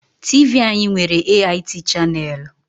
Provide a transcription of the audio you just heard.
TV anyị nwere AIT chaneelu.